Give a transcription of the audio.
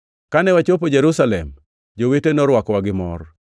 Kane wachopo Jerusalem, jowete norwakowa gi mor.